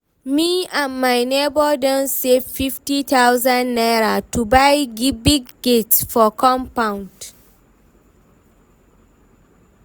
me and my nebor don save fifty thousand naira to buy big gate for compound